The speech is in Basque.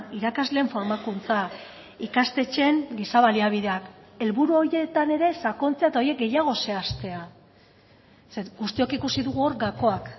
irakasleen formakuntza ikastetxeen giza baliabideak helburu horietan ere sakontzea eta horiek gehiago zehaztea ze guztiok ikusi dugu hor gakoak